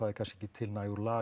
er kannski ekki til nægur lager